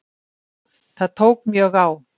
Það tók mjög á.